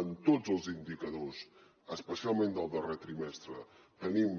en tots els indicadors especialment del darrer trimestre tenim